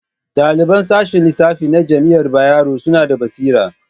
Ɗaliban sashen lissafi na jami'ar Bayero suna da basira